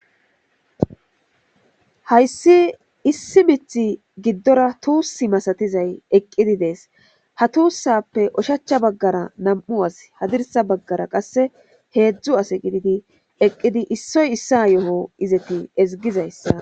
hayssi issi mith giddora tuussi masatizay eqqidi dees ha tuussappe oshachcha baggara nam7u as hadirsa baggara qasse heedzdzu ase gididi eqqidi issoy issa yo7o izeti ezigizayssa